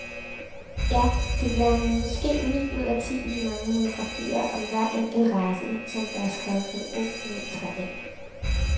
Ja, det bliver måske ni ud af ti i de mange monografier om hver enkelt race, som der er skrevet reolmetre af.